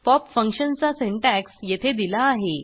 pop फंक्शनचा syntax येथे दिला आहे